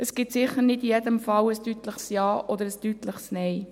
– Es gibt sicher nicht in jedem Fall ein deutliches Ja oder ein deutliches Nein.